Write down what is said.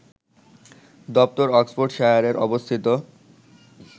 দপ্তর অক্সফোর্ডশায়ারে অবস্থিত